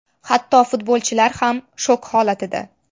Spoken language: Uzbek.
Hatto futbolchilar ham shok holatida.